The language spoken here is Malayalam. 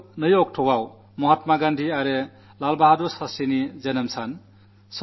ഈ വരുന്ന ഒക്ടോബർ 2 മഹാത്മാഗന്ധിയുടെയും ലാൽ ബഹാദുർ ശാസ്ത്രിയുടെയും ജന്മദിനമാണ്